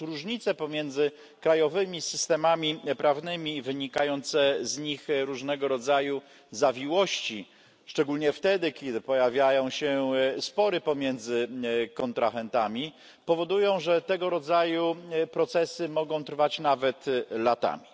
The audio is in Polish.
Otóż różnice pomiędzy krajowymi systemami prawnymi i wynikające z nich różnego rodzaju zawiłości szczególnie wtedy, kiedy pojawiają się spory pomiędzy kontrahentami, powodują, że tego rodzaju procesy mogą trwać nawet latami.